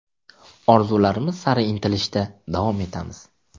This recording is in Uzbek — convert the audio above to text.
Orzularimiz sari intilishda davom etamiz.